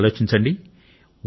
మీరు ఆలోచించండి